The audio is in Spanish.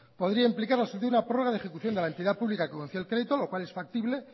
podría implicar una prórroga de ejecución de la entidad pública que concedió el crédito lo cual es factible